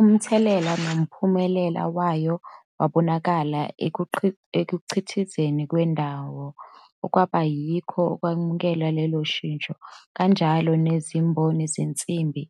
Umthelela nomphumela wayo wabonakala ekukhiqizweni kwendangu, okwaba yikho okwamukela lolo shintsho, kanjalo nezimboni zensimbi,